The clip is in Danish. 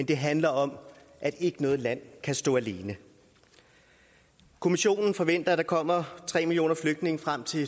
det handler om at ikke noget land kan stå alene kommissionen forventer at der kommer tre millioner flygtninge frem til